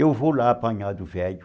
Eu vou lá apanhar do velho.